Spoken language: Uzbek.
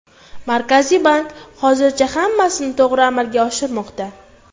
Markaziy bank hozircha hammasini to‘g‘ri amalga oshirmoqda.